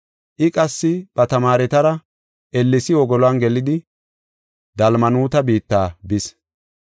I qassi ba tamaaretara ellesi wogolon gelidi Dalmanuuta biitta bis.